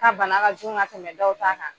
Ka bana ka jugu ka tɛmɛ dɔw ta kan.